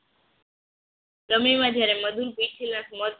રમી માં જ્યારે મધુ મધ